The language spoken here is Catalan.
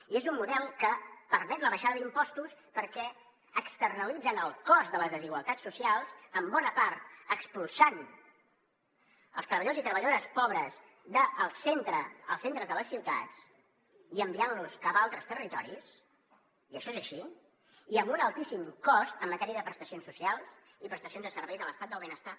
i és un model que permet la baixada d’impostos perquè externalitzen el cost de les desigualtats socials en bona part expulsant els treballadors i treballadores pobres dels centres de les ciutats i enviant los cap a altres territoris i això és així i amb un altíssim cost en matèria de prestacions socials i prestacions de serveis de l’estat del benestar